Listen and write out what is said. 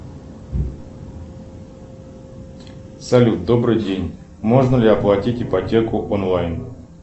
салют добрый день можно ли оплатить ипотеку онлайн